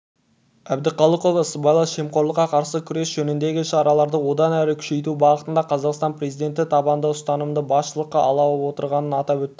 әбдіқалықова сыбайлас жемқорлыққа қарсы күрес жөніндегі шараларды одан әрі күшейту бағытында қазақстан президенті табанды ұстанымды басшылыққа алып отырғанын атап өтті